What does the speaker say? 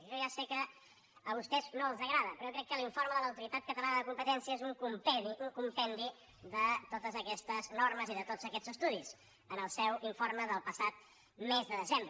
jo ja sé que a vostès no els agrada però jo crec que l’informe de l’autoritat catalana de la competència és un compendi de totes aquestes normes i de tots aquests estudis en el seu informe del passat mes de desembre